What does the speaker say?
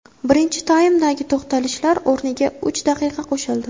Birinchi taymdagi to‘xtalishlar o‘rniga uch daqiqa qo‘shildi.